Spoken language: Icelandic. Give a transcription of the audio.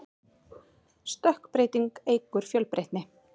stökkbreyting eykur fjölbreytni